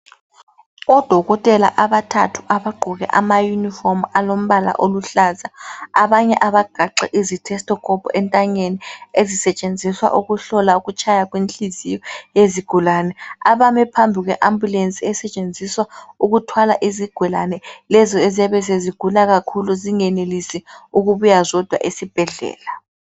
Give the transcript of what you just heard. Odokotela abathathu abagqoke amayunifomu alombala oluhlaza. Abanye abagaxe izithesithikhophu ethanyeni ezisetshenziswa ukuhlola kutshaya kwenhliziyo yezigulane, abane phambi kwe ambulenzi esetshenziswa ukuthwala izigulane lezo eziyabe sezigula kakhulu zingayenelisi ukubuya zodwa esibhedlela.